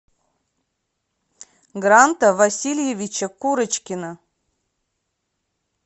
гранта васильевича курочкина